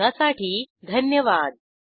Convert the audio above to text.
सहभागासाठी धन्यवाद